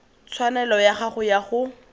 tshwanelo ya gago ya go